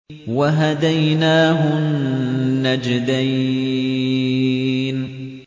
وَهَدَيْنَاهُ النَّجْدَيْنِ